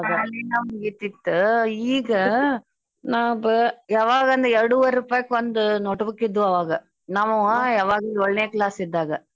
ಶಾಲಿನ ಮುಗಿತಿತ್ತು ಈಗ ನಾವ್ ಬ~ ಯವಗಂದ್ರ ಎರಡುವರಿ ರೂಪಾಯ್ಕೊಂದ್ note book ಇದ್ದುವು ಅವಾಗ ನಮ್ವಾ ಯವಾಗ್ ಯೋಳ್ನೇ class ಇದ್ದಾಗ.